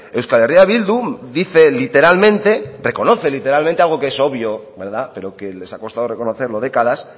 euskal herria bildu dice literalmente reconoce literalmente algo que es obvio verdad pero que les ha costado reconocerlo décadas